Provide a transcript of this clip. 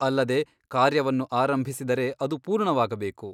ಅಲ್ಲದೆ ಕಾರ್ಯವನ್ನು ಆರಂಭಿಸಿದರೆ ಅದು ಪೂರ್ಣವಾಗಬೇಕು.